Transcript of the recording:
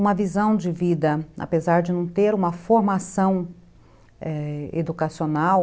Uma visão de vida, apesar de não ter uma formação educacional,